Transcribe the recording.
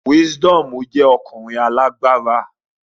Wisdomu jẹ ọkunrin alagbara